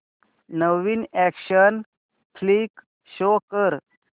नवीन action flick show कर